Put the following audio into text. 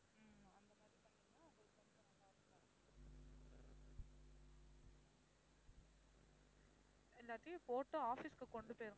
இல்லாட்டி போட்டு office க்கு கொண்டு போயிருங்க